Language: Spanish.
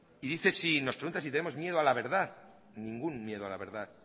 y nos pregunta si tenemos miedo a la verdad ningún miedo a la verdad